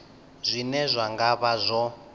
zwine zwa nga vha zwo